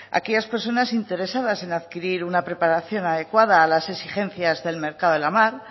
aquellas personas interesadas en adquirir una preparación adecuada a las exigencias del mercado de la mar